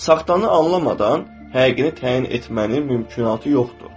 Saxtanı anlamadan həqiqini təyin etmənin mümkünatı yoxdur.